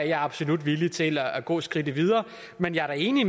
jeg absolut villig til at gå skridtet videre men jeg er da enig